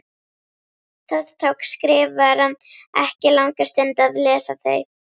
Það tók Skrifarann ekki langa stund að lesa þau.